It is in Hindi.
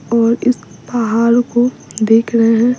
और इस पहाड़ को देख रहे हैं --